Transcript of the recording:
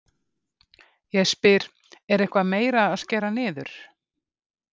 Ég spyr, er eitthvað meira að skera niður?